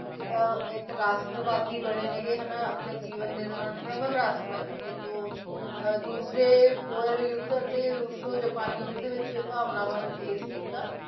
ਅਹ ਇੱਕ ਰਾਸ਼ਟਵਾਦੀ ਬਣੇ ਨੇਗੇ ਹਨਾ ਆਪਣੇ ਜੀਵਨ ਦੇ ਪ੍ਰਬਲ ਰਾਸ਼ਟਰਵਾਦੀ ਤੇ ਦੋ ਅਹ ਦੂਸਰੇ ਯੁੱਧ ਅਤੇ ਰੂਸੋ ਜਪਾਨੀ ਯੁੱਧ ਵਿੱਚ ਭਾਵਨਾਵਾਂ ਨੂੰ ਪੇਸ ਕੀਤਾ,